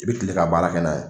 I bɛ kile ka baara kɛ n'a ye